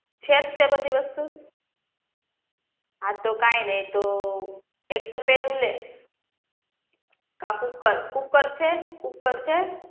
છે જ તે બધી વસ્તુ હા તો કાઈ નહિ તો એક તપેલુ લે આ કુકર કુકર છે કુકર છે